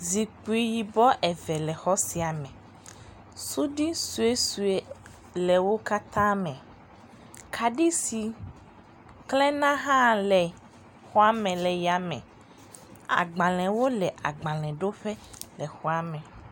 Zikpi yibɔ eve le xɔ sia me. Suɖi suesue le wo katã me. kaɖi si klẽna hã le xɔa me le yame. Agbalẽwo le agbalẽɖoƒe le xɔa me